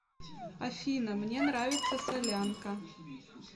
афина мне нравится солянка